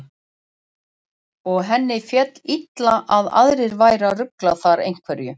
Og henni féll illa að aðrir væru að rugla þar einhverju.